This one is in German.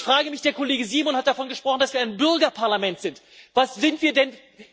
Ich frage mich Der Kollege Simon hat davon gesprochen, dass wir ein Bürgerparlament sind. Was sind wir denn?